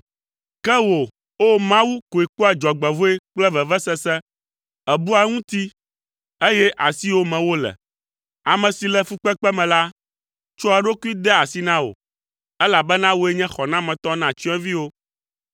Ke wò, O! Mawu, koe kpɔa dzɔgbevɔ̃e kple vevesese; èbua eŋuti, eye asiwò me wole. Ame si le fukpekpe me la, tsɔa eɖokui dea asi na wò; elabena wòe nye xɔnametɔ na tsyɔ̃eviwo.